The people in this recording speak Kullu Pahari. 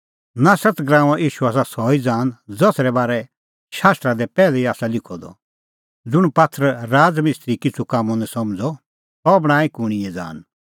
नासरत गराऊंओ ईशू आसा सह ई ज़ान ज़सरै बारै शास्त्रा दी पैहलै ई आसा लिखअ द ज़ुंण पात्थर राज़ मिस्त्री किछ़ू कामों निं समझ़अ सह बणांईं कूणींए ज़ान